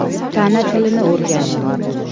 Tana tilini o‘rganing!.